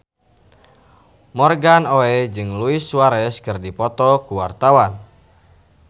Morgan Oey jeung Luis Suarez keur dipoto ku wartawan